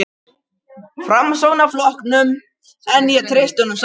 Framsóknarflokknum, en ég treysti honum samt.